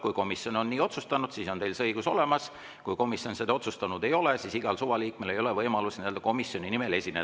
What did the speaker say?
Kui komisjon on nii otsustanud, siis on teil see õigus olemas, kui komisjon seda otsustanud ei ole, siis igal suvalisel liikmel ei ole võimalust komisjoni nimel esineda.